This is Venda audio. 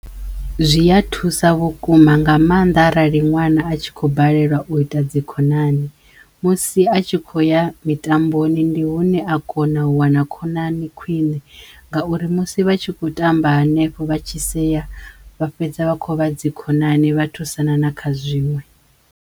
Zwi ya thusa vhukuma nga mannḓa arali ṅwana a tshi khou balelwa u ita dzikhonani musi a tshi khou ya mitamboni ndi hune a kona u wana khonani khwiṋe ngauri musi vha tshi khou tamba hanefho vha tshi seya vha fhedza vha kho vha dzikhonani vha thusana na kha zwiṅwe.